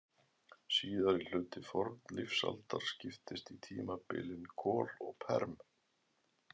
Síðari hluti fornlífsaldar skiptist í tímabilin kol og perm.